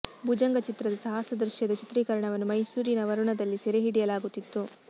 ಭುಜಂಗ ಚಿತ್ರದ ಸಾಹಸ ದೃಶ್ಯದ ಚಿತ್ರೀಕರಣವನ್ನು ಮೈಸೂರಿನ ವರುಣದಲ್ಲಿ ಸೆರೆ ಹಿಡಿಯಲಾಗುತ್ತಿತ್ತು